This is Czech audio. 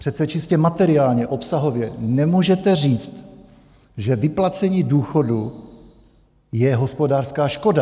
Přece čistě materiálně, obsahově nemůžete říct, že vyplacení důchodu je hospodářská škoda.